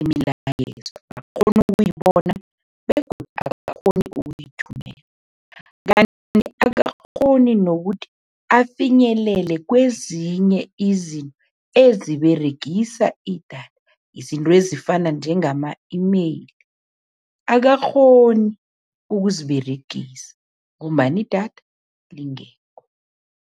imilayezo, akakghoni ukuyibona begodu akakghoni uyithumela, kanti akakghoni nokuthi afinyelele kwezinye izinto eziberegisa idatha, izinto ezifana njengama-email, akakghoni ukuziberegisa ngombana idatha lingekho.